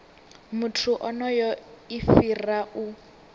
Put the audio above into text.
muthu onoyo i fhira u